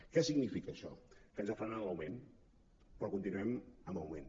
què significa això que ens ha frenat l’augment però continuem en augment